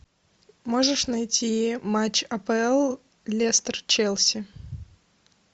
можешь найти матч апл лестер челси